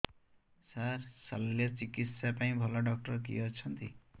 ସାର ଶଲ୍ୟଚିକିତ୍ସା ପାଇଁ ଭଲ ଡକ୍ଟର କିଏ ଅଛନ୍ତି